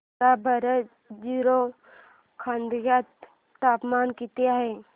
सांगा बरं जीरो खोर्यात तापमान किती आहे